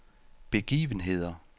begivenheder